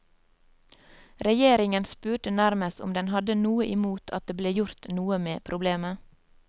Regjeringen spurte nærmest om den hadde noe imot at det ble gjort noe med problemet.